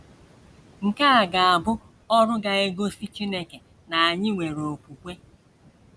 Nke a ga - abụ ọrụ ga - egosi Chineke na anyị nwere okwukwe.